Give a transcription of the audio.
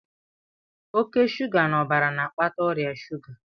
Oke shuga n'ọbara na-akpata ọrịa shuga